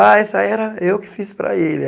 Ah, essa era eu que fiz para ele.